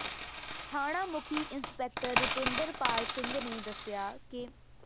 ਥਾਣਾ ਮੁਖੀ ਇੰਸਪੈਕਟਰ ਰੁਪਿੰਦਰ ਪਾਲ ਸਿੰਘ ਨੇ ਦੱਸਿਆ ਕਿ